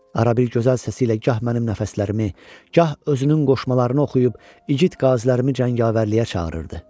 Ara bir gözəl səsiylə gah mənim nəfəslərimi, gah özünün qoşmalarını oxuyub igid qazilərimi cəngavərliyə çağırırdı.